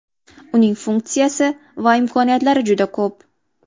Uning funksiya va imkoniyatlari juda ko‘p.